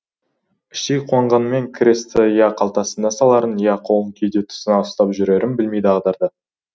іштей қуанғанымен крестті я қалтасына саларын я қолын кеуде тұсына ұстап жүрерін білмей дағдарды